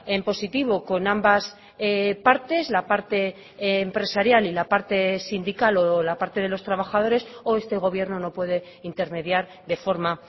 en positivo con ambas partes la parte empresarial y la parte sindical o la parte de los trabajadores o este gobierno no puede intermediar de forma